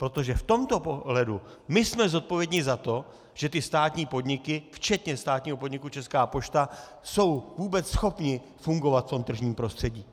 Protože v tomto ohledu my jsme zodpovědní za to, že ty státní podniky včetně státního podniku Česká pošta jsou vůbec schopny fungovat v tom tržním prostředí.